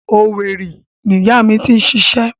Owerri ni ìyá mi ti ń ṣiṣẹ́.